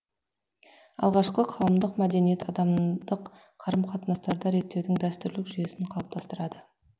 алғашқы қауымдық мәдениет адамдық қарым қатынастарды реттеудің дәстүрлік жүйесін қалыптастырады